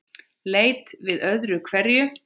Leit við öðru hverju.